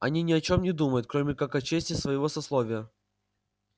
они не о чем не думают кроме как о чести своего сословия